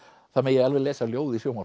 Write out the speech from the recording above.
það megi alveg lesa ljóð í sjónvarp